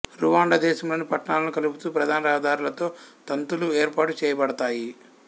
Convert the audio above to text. Rwanda దేశంలోని పట్టణాలను కలుపుతూ ప్రధాన రహదారులతో తంతులు ఏర్పాటు చేయబడతాయి